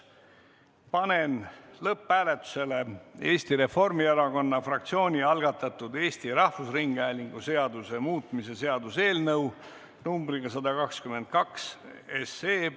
Panen lõpphääletusele Eesti Reformierakonna fraktsiooni algatatud Eesti Rahvusringhäälingu seaduse muutmise seaduse eelnõu numbriga 122.